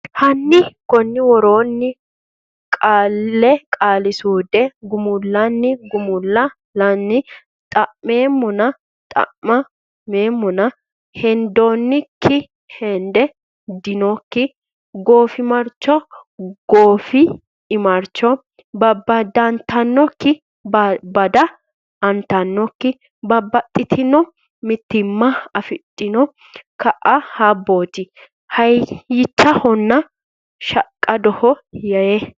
hanni konni woroonni Qaale Qaali suude gumullanni gumul lanni dhaa meemmona dhaa m eemmona heddinoonnikki hed dinoonnikki goofimarchoho goof imarchoho babbadantannokki babbad antannokki Babbaxxitino mitimma afidhiono kaa habbooti hayyichahonna shaqqadoho yee.